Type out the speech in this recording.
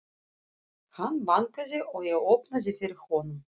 Hann bankaði og ég opnaði fyrir honum.